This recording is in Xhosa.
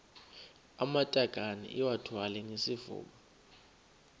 amatakane iwathwale ngesifuba